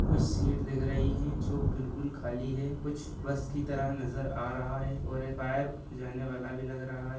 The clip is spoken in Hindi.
कुछ सीट देख रही है जो बिल्कुल खाली है बस की तरह नजर आ रहा है भी लग रहा है।